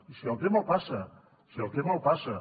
i si el té me’l passa si el té me’l passa